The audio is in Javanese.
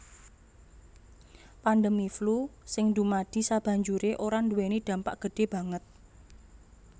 Pandemi flu sing dumadi sabanjuré ora nduwèni dampak gedhé banget